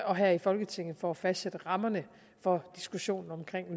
og her i folketinget for at fastsætte rammerne for diskussionen om